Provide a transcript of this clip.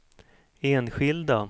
enskilda